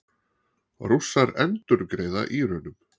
Rússar endurgreiða Írönum